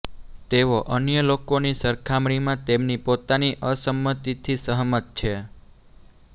તેઓ અન્ય લોકોની સરખામણીમાં તેમની પોતાની અસંમતિથી સહમત છે